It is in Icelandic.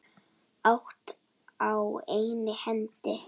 Allt á einni hendi.